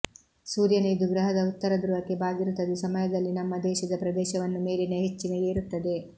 ಸೂರ್ಯನ ಇದು ಗ್ರಹದ ಉತ್ತರ ಧ್ರುವಕ್ಕೆ ಬಾಗಿರುತ್ತದೆ ಸಮಯದಲ್ಲಿ ನಮ್ಮ ದೇಶದ ಪ್ರದೇಶವನ್ನು ಮೇಲಿನ ಹೆಚ್ಚಿನ ಏರುತ್ತದೆ